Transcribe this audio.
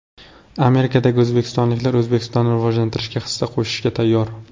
Amerikadagi o‘zbekistonliklar O‘zbekistonni rivojlantirishga hissa qo‘shishga tayyor .